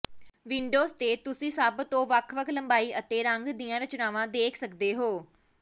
windows ਤੇ ਤੁਸੀਂ ਸਭ ਤੋਂ ਵੱਖ ਵੱਖ ਲੰਬਾਈ ਅਤੇ ਰੰਗਾਂ ਦੀਆਂ ਰਚਨਾਵਾਂ ਦੇਖ ਸਕਦੇ ਹੋ